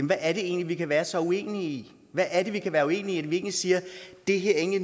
hvad er det egentlig vi kan være så uenige i hvad er det vi kan være uenige i når vi siger at det her egentlig